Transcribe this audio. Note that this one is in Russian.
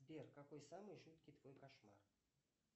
сбер какой самый жуткий твой кошмар